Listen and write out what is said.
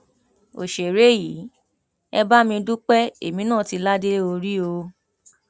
òṣèré yìí ẹ bá mi dúpẹ èmi náà tì ládé orí o